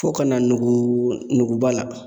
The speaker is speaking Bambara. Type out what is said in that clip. Fo ka na nugu nuguba la.